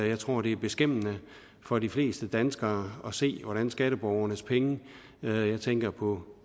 jeg tror det er beskæmmende for de fleste danskere at se hvordan skatteborgernes penge jeg tænker på